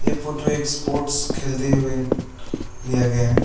ए photo sports खेलते हुए लिया गया है।